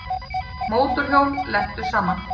Mótorhjól lentu saman